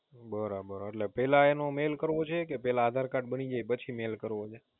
બરાબર એટલે પહેલા એને Mail કરવા છે, કે પહેલા આધાર કાર્ડ બની જાય પછી Mail કરવુ છે